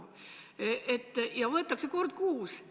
Ja seda võetakse kord kuus.